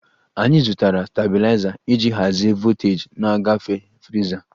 Anyị zụtara stabiliza iji hazie voltaji na-agafe friza